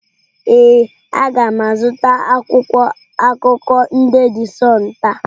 Ee, a ga m azụta akwụkwọ akụkọ ndị de Sunụ taa.